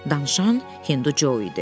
Danışan Hindu Co idi.